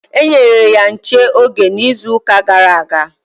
E nyere ya nche oge n'izuuka gara aga.